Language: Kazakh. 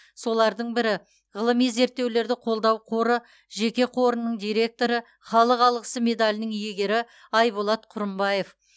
солардың бірі ғылыми зерттеулерді қолдау қоры жеке қорының директоры халық алғысы медалінің иегері айболат құрымбаев